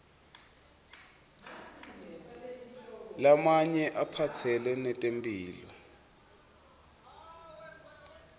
lamanye aphatselene netempihlo